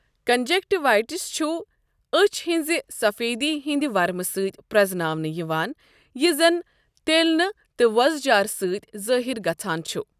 Conjunctivitis چھُ أچھۍ ہنزِ سفیدی ہندِ ورمہٕ سۭتۍ پرزناونہٕ یوان یہِ زن تیلنہٕ تہٕ وۄزٕجارٕ سۭتۍ ظٲہِر گژھَان چھ ۔